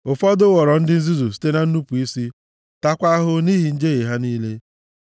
Ụfọdụ ghọrọ ndị nzuzu site na nnupu isi taakwa ahụhụ nʼihi njehie ha niile.